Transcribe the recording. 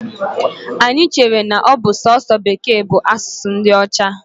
Anyi chere n'ọbụ sọọsọ Bekee bu asụsụ ndi Ocha.